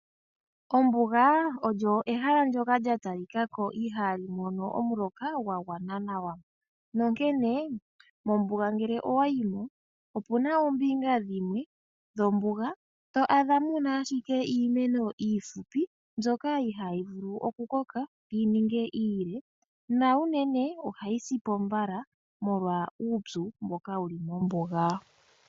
Ombuga olyo ehala lyoka lya talikako ihali mono omuloka gwa gwana nawa. Nonkene mombuga ngele owa yimo opuna ombinga dhimwe dhombuga to adha ashike muna iimeno iihupi mbyoka ihaayi vulu oku koka yi ninge iile na unene ohayi sipo mbala molwa uupyu mboka wuli mombuga.